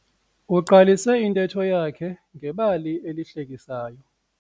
Uqalise intetho yakhe ngebali lesihlekiso.